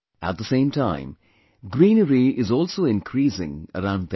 At the same time, greenery is also increasing around them